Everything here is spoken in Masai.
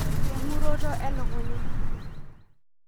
Engoroto elukunya?